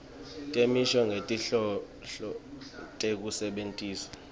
temisho ngetinhloso tekusebentisa